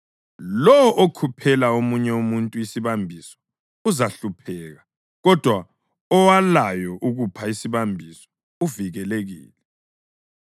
Lowo okhuphela omunye umuntu isibambiso uzahlupheka, kodwa owalayo ukupha isibambiso uvikelekile.